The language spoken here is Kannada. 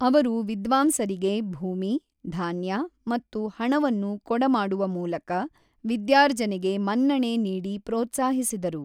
ಅವರು ವಿದ್ವಾಂಸರಿಗೆ ಭೂಮಿ, ಧಾನ್ಯ ಮತ್ತು ಹಣವನ್ನು ಕೊಡಮಾಡುವ ಮೂಲಕ ವಿದ್ಯಾರ್ಜನೆಗೆ ಮನ್ನಣೆ ನೀಡಿ ಪ್ರೋತ್ಸಾಹಿಸಿದರು.